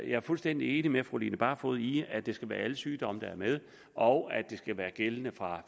er fuldstændig enig med fru line barfod i at det skal være alle sygdomme der er med og at det skal være gældende fra